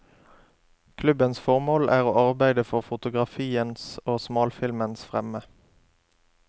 Klubbens formål er å arbeide for fotografiens og smalfilmens fremme.